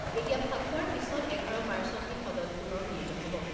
এতিয়া ফাকুৱাৰ পিছত এঘাৰ মাৰ্চতহে সদন পুনৰ মিলিত হ'ব।